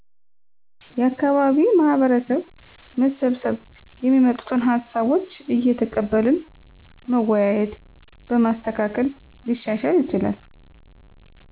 የአካባቢ ማህበረሰብ መሰብሰብ የሚመጡትን ሀሳቦች እየተቀበልን መወያየት በማስተካከል ሊሻሻል ይችላል